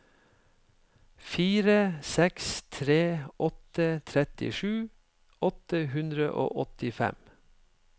fire seks tre åtte trettisju åtte hundre og åttifem